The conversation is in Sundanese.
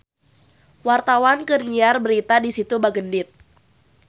Wartawan keur nyiar berita di Situ Bagendit